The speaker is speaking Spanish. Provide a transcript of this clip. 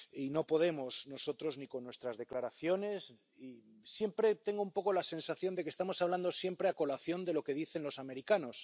No podemos nosotros hacerlo con nuestras declaraciones y siempre tengo un poco la sensación de que estamos hablando siempre en función de lo que dicen los americanos.